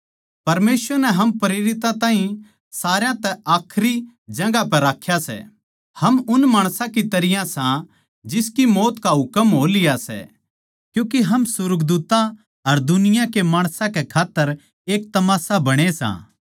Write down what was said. परमेसवर नै हम प्रेरितां ताहीं सारया तै आखरी जगहां पै राख्या सै हम उन माणसां की तरियां सां जिनकी मौत का हुकम हो लिया सै क्यूँके हम सुर्गदूत्तां अर दुनिया के माणसां कै खात्तर एक तमाशा बणे सां